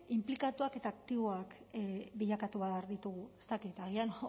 inplikatuak eta aktiboak bilakatu behar ditugu ez dakit agian